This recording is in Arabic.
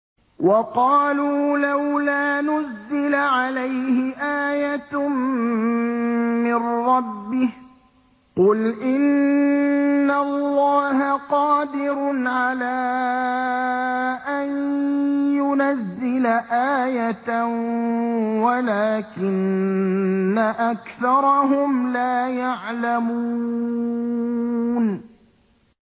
وَقَالُوا لَوْلَا نُزِّلَ عَلَيْهِ آيَةٌ مِّن رَّبِّهِ ۚ قُلْ إِنَّ اللَّهَ قَادِرٌ عَلَىٰ أَن يُنَزِّلَ آيَةً وَلَٰكِنَّ أَكْثَرَهُمْ لَا يَعْلَمُونَ